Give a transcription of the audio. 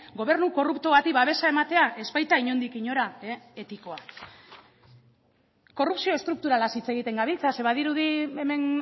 gobernu korrupto bati babesa ematea ez baita inondik inora etikoa korrupzio estrukturalaz hitz egiten gabiltza ze badirudi hemen